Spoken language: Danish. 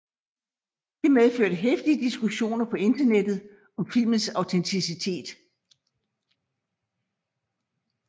Det medførte heftige diskussioner på internettet om filmens autenticitet